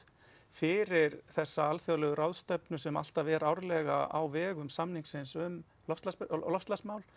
fyrir þessa alþjóðlegu ráðstefnu sem alltaf er árlega á vegum samningsins um loftslagsmál og loftslagsmál